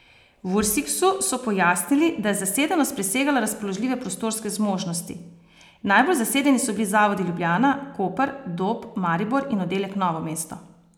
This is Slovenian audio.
V Ursiksu so pojasnili, da je zasedenost presegala razpoložljive prostorske zmožnosti: "Najbolj zasedeni so bili zavodi Ljubljana, Koper, Dob, Maribor in oddelek Novo mesto.